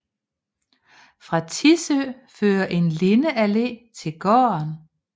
Fra Tissø fører en lindeallé til gården